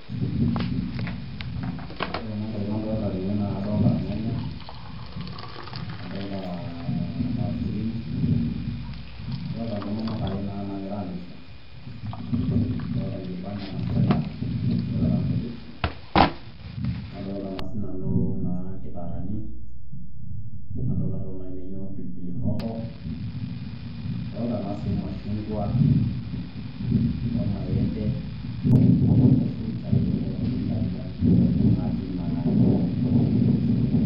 Ore nanu entoki nadolita tene naa kadolita irnyanya nadolita aa irmaisurin nadolita intomonok are naagira aamirisho nadolita enkibanda nasheta toonkujit nadolita naa siinanu inkitarani nadolita intokitin naaijio naa pilipili hoho adoolta naa sii irmashunkua, ormaembe, orfruits akeyie pookin inkabilaritin pookin naati naa ene wueji.